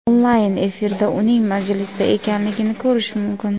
Onlayn efirda uning majlisda ekanligini ko‘rish mumkin.